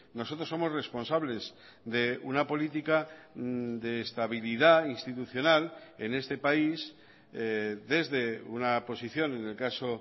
nosotros somos responsables de una política de estabilidad institucional en este país desde una posición en el caso